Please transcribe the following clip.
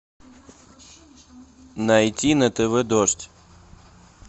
найти на тв дождь